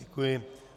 Děkuji.